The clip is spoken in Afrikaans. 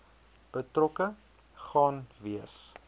betrokke gaan wees